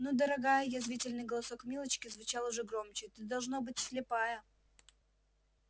ну дорогая язвительный голосок милочки звучал уже громче ты должно быть слепая